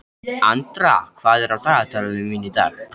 Andra, hvað er á dagatalinu mínu í dag?